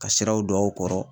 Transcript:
Ka siraw don aw kɔrɔ